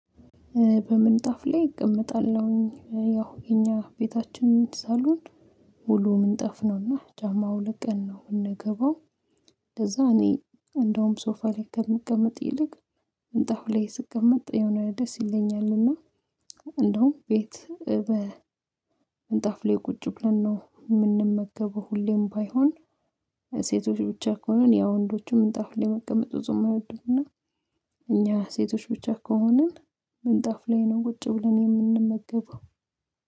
በምንጣፍ ላይ እቀመጣለሁኝ ያው የእኛ ቤታችን ሳሎን ሙሉ ምንጣፍ ነውና ጫማ አውልቀን ነው ምንገባው። እንደዛ እኔ እንደውም ሶፋ ላይ ከምቀመጥ ይልቅ ምንጣፍ ላይ ስቀመጥ የሆነ ደስ ይለኛልና። እንደውም ቤት በምንጣፍ ላይ ቁጭ ብለን ነው። ምንመገበው ሁሌም ባይሆን ሴቶች ብቻ ከሆንን ያው ወንዶችም ምንጣፍ ላይ መቀመጥ ብዙም አይወዱምና። እኛ ሴቶች ብቻ ከሆንን ምንጣፍ ላይ ነው ቁጭ ብለን የምንመገበው።